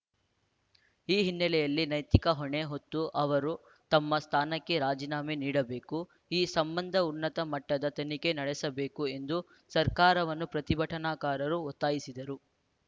ಈ ಹಿನ್ನೆಲೆಯಲ್ಲಿ ನೈತಿಕ ಹೊಣೆ ಹೊತ್ತು ಅವರು ತಮ್ಮ ಸ್ಥಾನಕ್ಕೆ ರಾಜಿನಾಮೆ ನೀಡಬೇಕು ಈ ಸಂಬಂಧ ಉನ್ನತ ಮಟ್ಟದ ತನಿಖೆ ನಡೆಸಬೇಕು ಎಂದು ಸರ್ಕಾರವನ್ನು ಪ್ರತಿಭಟನಾಕಾರರು ಒತ್ತಾಯಿಸಿದರು